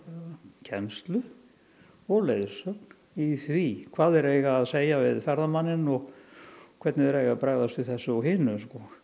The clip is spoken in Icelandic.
kennslu og leiðsögn í því hvað þeir eiga að segja við ferðamanninn og hvernig þeir eiga að bregðast við þessu og hinu